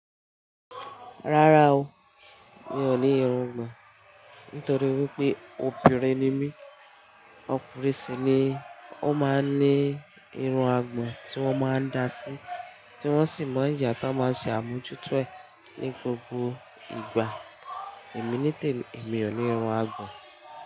Rárá o, mi ò ní irungbọ̀n. Nítorí wípé obìnrin ni mí, ọkùnrin sì ni ó máa ń ní irun àgbọn tí wón máa ń dá sí, tí wón sì má ń yà tán máa ń sì àmujútọ̀ ẹ ní gbogbo ìgbà. Èmi ní tèmi, èmi ò ní irun àgbọn.